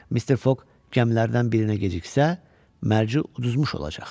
Mister Fog gəmilərdən birinə geciksə, mərc uduzmuş olacaq.